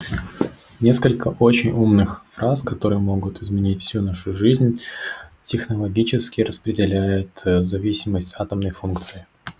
несколько очень умных фраз которые могут изменить всю нашу жизнь технологически распределяет зависимость атомной функции